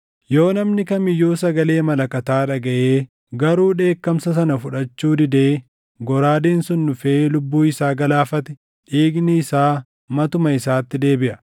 yoo namni kam iyyuu sagalee malakataa dhagaʼee garuu akeekkachiisa sana fudhachuu didee goraadeen sun dhufee lubbuu isaa galaafate, dhiigni isaa matuma isaatti deebiʼa.